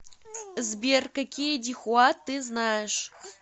сбер какие дихуа ты знаешь